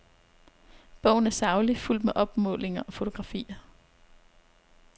Bogen er saglig, fuldt med opmålinger og fotografier.